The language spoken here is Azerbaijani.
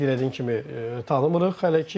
Qeyd elədiyim kimi tanımırıq hələ ki.